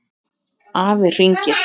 Afi hringir